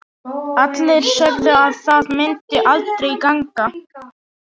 Allir sögðu að það myndi aldrei ganga.